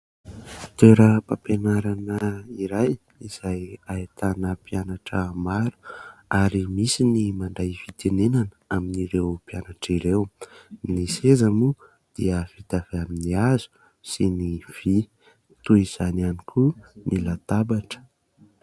Toeram-pampianarana iray izay ahitana mpianatra maro ary misy ny mandray fitenenana amin'ireo mpianatra ireo. Ny seza moa dia vita avy amin'ny hazo sy ny vy toy izany ihany koa ny latabatra.